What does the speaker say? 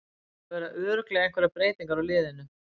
Það verða örugglega einhverjar breytingar á liðinu.